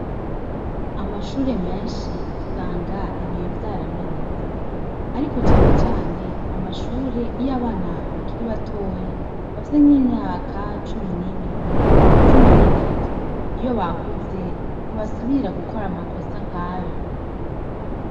Amashure menshi usanga ibiyo vyaramenetse . Ariko cane cane amashure iyo abana bakiri batoyi , bafise nkimyaka cumi nibiri , cumi nitatu . Iyo bakuze , ntibasubira gukora amakosa nkayo.